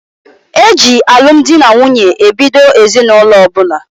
E ji alụ m di na nwunye ebido ezinụlọ ọbụla.